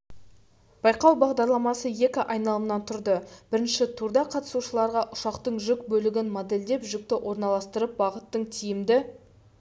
байқау бағдарламасы екі айналымнан тұрды бірінші турда қатысушыларға ұшақтың жүк бөлігін модельдеп жүкті орналастырып бағыттың тиімді